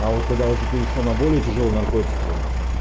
а вот когда уже перешёл на более тяжёлые наркотики